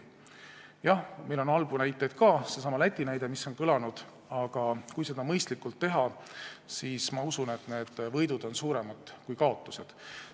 Jah, meil on halbu näiteid ka, kas või seesama Läti näide, mis on kõlanud, aga kui seda mõistlikult teha, siis, ma usun, on võidud suuremad kui kaotused.